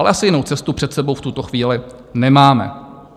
Ale asi jinou cestu před sebou v tuto chvíli nemáme.